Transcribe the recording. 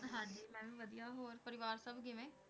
ਮੈਂ ਵਾਦਿਯ ਹੋਰ ਪਰਿਵਾਰ ਸਬ ਕਿਵੇਂ